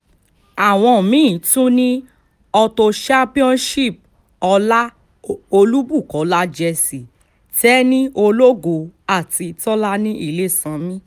àwọn mí-ín tún ni auto championship ọlá olúbukọlá jesse tẹni ológo àti tọ́lani ilésànmi